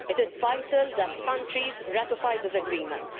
It is vital that countries ratify this agreement.